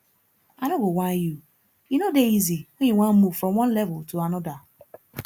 i no go whine you e no dey easy when you wan move from one level to anodir